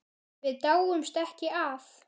Við dáumst ekki að